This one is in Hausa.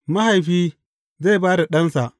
Mahaifi zai ba da ɗansa.